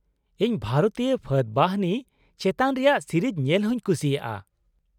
ᱤᱧ ᱵᱷᱟᱨᱚᱛᱤᱭᱟᱹ ᱯᱷᱟᱹᱫ ᱵᱟᱦᱤᱱᱤ ᱪᱮᱛᱟᱱ ᱨᱮᱭᱟᱜ ᱥᱤᱨᱤᱡ ᱧᱮᱞ ᱦᱩᱧ ᱠᱩᱥᱤᱭᱟᱜᱼᱟ ᱾